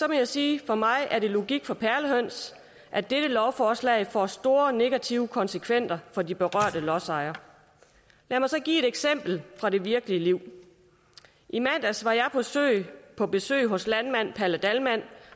jeg sige at for mig er det logik for perlehøns at dette lovforslag får store negative konsekvenser for de berørte lodsejere lad mig så give et eksempel fra det virkelige liv i mandags var jeg på besøg hos landmand palle dahlmann